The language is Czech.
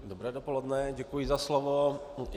Dobré dopoledne, děkuji za slovo.